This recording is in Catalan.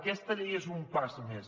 aquesta llei és un pas més